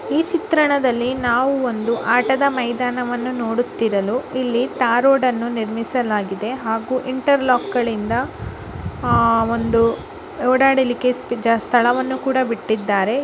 ಈ ಚಿತ್ರಣದಲ್ಲಿ ನಾವು ಒಂದು ಆಟದ ಮೈದಾನವನ್ನು ನೋಡುತ್ತಿರಲು ಇಲ್ಲಿ ತಾರ್ ರೋಡನ್ನು ನಿರ್ಮಿಸಲಾಗಿದೆ ಹಾಗೂ ಇಂಟರ್ ಲಾಕ್ ಗಳಿಂದ ಆಹ್ ಒಂದು ಓಡಾಡಲಿಕ್ಕೆ ಸ್ಥಳವನ್ನು. ಬಿಟ್ಟಿದ್ದಾರೆ.